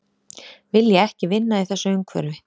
Vilja ekki vinna í þessu umhverfi